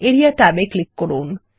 area ট্যাবে click করুন